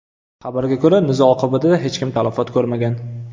Xabarga ko‘ra, nizo oqibatida hech kim talafot ko‘rmagan.